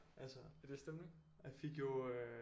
Altså jeg fik jo øh